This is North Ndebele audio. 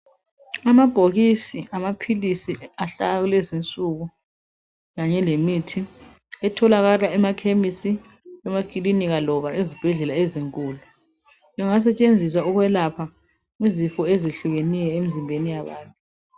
Amabhokisi amaphilisi awakulezinsuku kanye lemithi etholakala emakhemisi, emakilinika loba ezibhedlela ezinkulu engasetshenziswa ukwelapha izifo ezehlukeneyo emzimbeni yabantu.